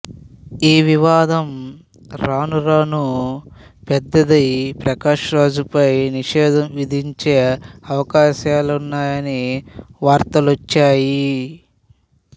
ఈ వివాదం రాను రానూ పెద్దదై ప్రకాష్ రాజ్ పై నిషేధం విధించే అవకాశాలున్నాయని వార్తలొచ్చాయి